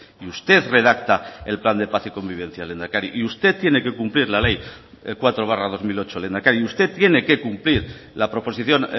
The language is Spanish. y usted redacta el plan de paz y convivencia lehendakari y usted tiene que cumplir la ley cuatro barra dos mil ocho lehendakari usted tiene que cumplir la proposición